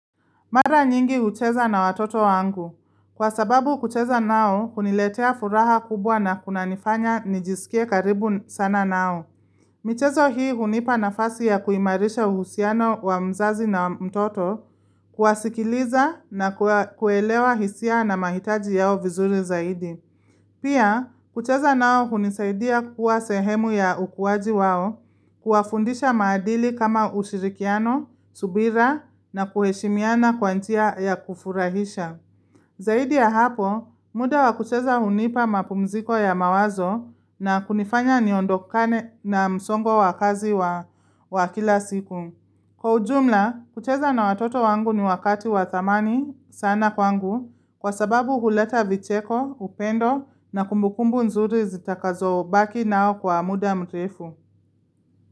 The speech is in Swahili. Mara nyingi hucheza na watoto wangu. Kwa sababu kucheza nao huniletea furaha kubwa na kunanifanya nijisikie karibu sana nao. Michezo hii hunipa nafasi ya kuimarisha uhusiano wa mzazi na mtoto, kuwasikiliza na kuelewa hisia na mahitaji yao vizuri zaidi. Pia, kucheza nao hunisaidia kuwa sehemu ya ukuaji wao, kuwafundisha maadili kama ushirikiano, subira na kuheshimiana kwa njia ya kufurahisha. Zaidi ya hapo, muda wa kucheza hunipa mapumziko ya mawazo na kunifanya niondokane na msongo wa kazi wa kila siku. Kwa ujumla, kucheza na watoto wangu ni wakati wa thamani sana kwangu kwa sababu huleta vicheko, upendo na kumbukumbu nzuri zitakazobaki nao kwa muda mrefu.